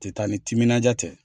Tɛ taa ni timinandiya tɛ.